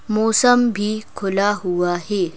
मौसम भी खुला हुआ है।